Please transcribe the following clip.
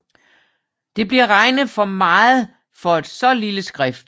Det bliver regnet for meget for et så lille skrift